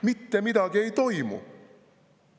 Mitte midagi ei toimu!